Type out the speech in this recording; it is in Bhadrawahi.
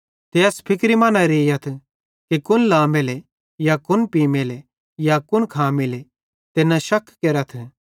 ते एस फिक्रे मां न रेइयथ कुन खामेले या कुन पीमेले या कुन लामेले ते न शक केरथ